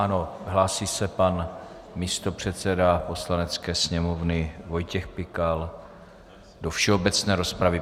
Ano, hlásí se pan místopředseda Poslanecké sněmovny Vojtěch Pikal do všeobecné rozpravy.